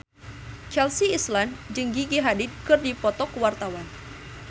Chelsea Islan jeung Gigi Hadid keur dipoto ku wartawan